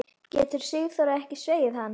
Getur Sigþóra ekki þvegið hann?